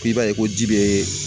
K'i b'a ye ko ji bɛ